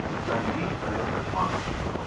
найди олег газманов